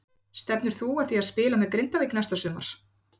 Stefnir þú að því að spila með Grindavík næsta sumar?